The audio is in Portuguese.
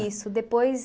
Isso, depois